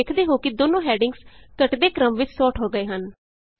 ਤੁਸੀਂ ਵੇਖਦੇ ਹੋ ਕਿ ਦੋਨੋਂ ਹੈਡਿੰਗਸ ਘੱਟਦੇ ਕ੍ਰਮ ਵਿਚ ਸੋਰਟ ਹੋ ਗਏ ਹਨ